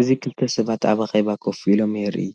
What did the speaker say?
እዚ ክልተ ሰባት ኣብ ኣኼባ ኮፍ ኢሎም የርኢ።